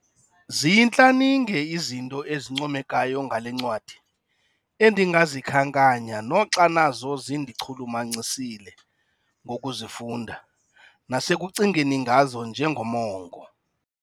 Ziyintlaninge izinto ezincomekayo ngale ncwadi endingazikhankanyanga noxa nazo zindichulumancisile ngokuzifunda nasekucingeni ngazo njengomongo.